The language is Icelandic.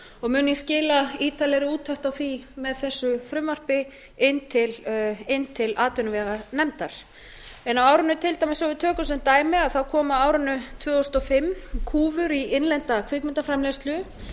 og mun ég skila ítarlegri úttekt á því með þessu frumvarpi inn til atvinnuveganefndar til dæmis svo við tökum sem dæmi þá komu á árinu tvö þúsund og fimm kúfur í innlenda kvikmyndaframleiðslu